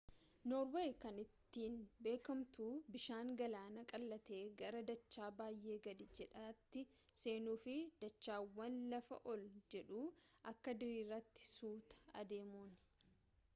noorweey kan ittiin beekamtu bishaan galaanaa qallatee gara dachaa baay'ee gad jedhaatti seenuu fi dachaawwan lafa ol jedhaa akka diriiraatti suuta adeemuuni